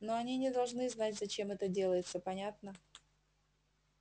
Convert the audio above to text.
но они не должны знать зачем это делается понятно